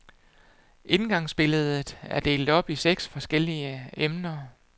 Indgangsbilledet er delt op i seks forskellige emner.